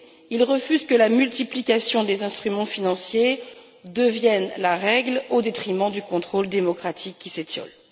Il refuse que la multiplication des instruments financiers devienne la règle au détriment du contrôle démocratique qui s'étiole.